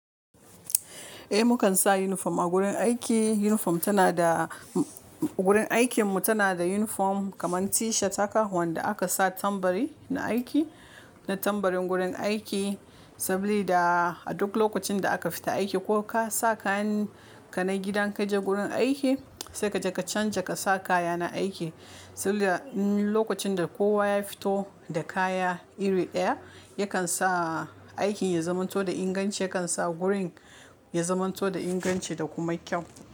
Eh, mu kan sa uniform a gurin aiki. Uniform tana da gurin aikin mu tana da uniform kamar t-shirt haka wanda aka sa tambari na aiki, na tambarin gurin aiki. Sabili da aduk lokacin da aka fita aiki ko ka sa kayan ka na gidan ka je gurin aiki sai kaje ka canza ka sa kaya na aiki. Saboda in lokacin da kowa ya fito da kaya iri ɗaya yakan sa aikin ya zamanto da inganci, yakan sa gurin ya zamanto da inganci da kuma kyau.